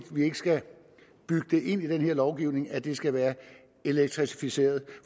skal bygge ind i den her lovgivning at det skal være elektrificeret